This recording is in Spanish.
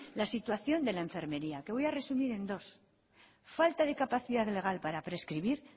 la situación de la enfermería que voy a resumir en dos falta de capacidad legal para prescribir